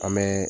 An bɛ